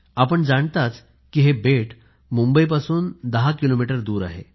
आपण जाणताच की हे बेट मुंबईपासून 10 किलोमीटर दूर आहे